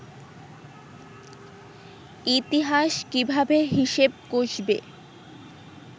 ইতিহাস কীভাবে হিসেব কষবে